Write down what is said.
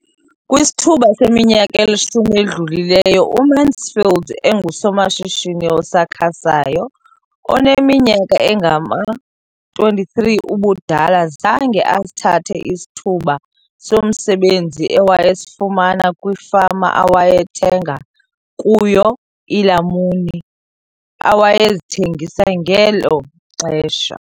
Kwisithuba seminyaka elishumi edlulileyo, uMansfield engusomashishini osakhasayo oneminyaka engama-23 ubudala, zange asithathe isithuba somsebenzi awayesifumana kwifama awayethenga kuyo iilamuni awayezithengisa ngelo xesha.